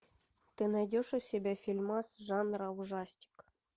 ты найдешь у себя фильмас жанра ужастик